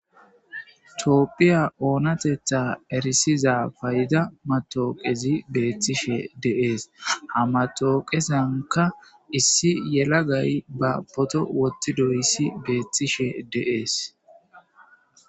Coopphiya oonatetha erisiza payida matooqezi beettishe deees hamatooqesanka issi yelagay ba poto wotti doyissi beethtishe deees.